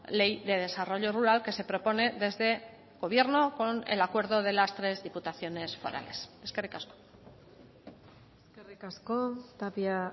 ley de desarrollo rural que se propone desde gobierno con el acuerdo de las tres diputaciones forales eskerrik asko eskerrik asko tapia